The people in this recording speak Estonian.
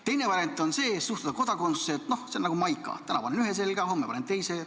Teine variant on suhtuda kodakondsusesse, et see on nagu maika – täna panen ühe selga, homme panen teise.